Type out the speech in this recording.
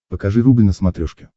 покажи рубль на смотрешке